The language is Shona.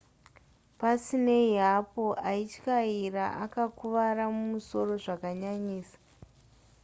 pasinei hapo aityaira akakuvara musoro zvakanyanyisisa